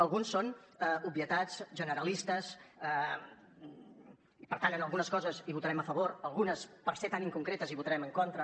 alguns són obvietats generalistes i per tant en algunes coses hi votarem a favor algunes per ser tan inconcretes hi votarem en contra